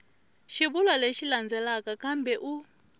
xivulwa lexi landzelaka kambe u